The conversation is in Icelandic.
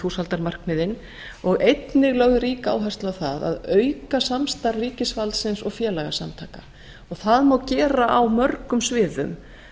þúsaldarmarkmiðin og einnig er lögð rík áhersla á að auka samstarf ríkisvaldsins og félagasamtaka það má gera á mörgum sviðum